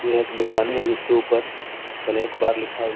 यह एक दुकानें है जिसके ऊपर स्नेक बार लिखा हुआ--